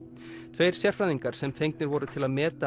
tveir sérfræðingar sem fengnir voru til að meta